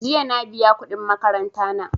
Jiya na biya kuɗin makaranta na.